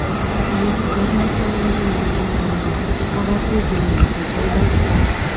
Uy bir necha oilaga mo‘ljallangan uch qavatli binoda joylashgan.